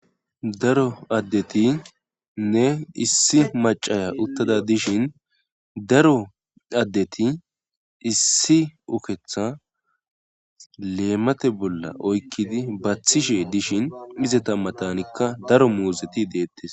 Daro addeti nne issi macaya uttada dishin daro addeti issi uketha leemate bolla oykkidi baathishe dishin mizeta matanikka daro muuzeti deettes